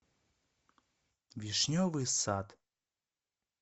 вишневый сад